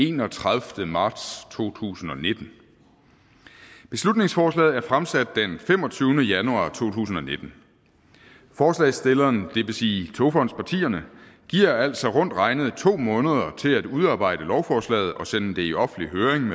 enogtredivete marts to tusind og nitten beslutningsforslaget er fremsat den femogtyvende januar to tusind og nitten forslagsstillerne det vil sige togfondspartierne giver altså rundt regnet to måneder til at udarbejde lovforslaget og sende det i offentlig høring